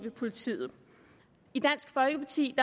politiet i dansk folkeparti